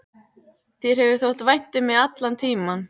Þér hefur þótt vænt um mig allan tímann.